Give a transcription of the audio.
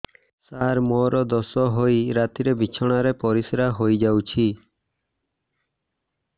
ସାର ମୋର ଦୋଷ ହୋଇ ରାତିରେ ବିଛଣାରେ ପରିସ୍ରା ହୋଇ ଯାଉଛି